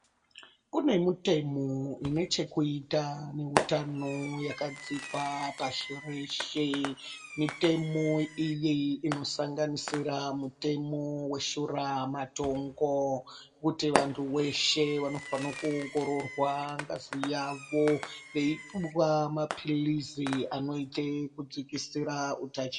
Kune mutemo ine chekuita neutano yakadzikwa pashi reshe. Mitemo iyi inosanganisira mutemo weshuramatongo kuti vantu veshe vanofanira kuoongororwa ngazi yavo veipuwa maphilizi anoite kudzikisira utachi...